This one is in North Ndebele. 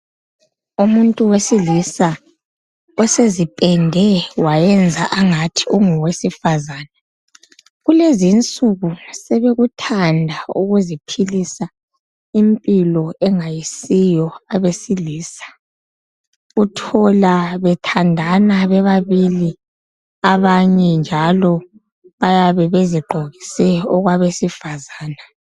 Umuntu wesilisa osezipende, wayenza angathi ungowesifazana. Kulezi insuku, sebekuthanda ukuziphilisa impilo engayisiyo abesilisa. Uthola bethandana bebabili. Abanye njalo bayabe bezigqokise okwabesifazana.